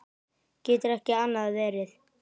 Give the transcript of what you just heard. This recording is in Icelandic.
Getur ekki annað verið.